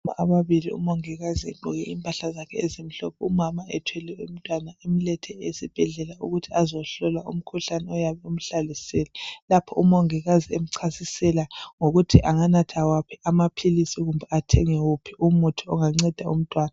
Ababili umongikazi egqoke impahla zakhe ezimhlophe umama ethwele umtwana emlethe esibhedlela ukuthi azohlolwa umkhuhlane ongabe umhlasele. Lapho umongikazi emchasisela ngokuthi anganatha waphi amaphilisi kumbe athenge wuphi umuthi onganceda umtwana.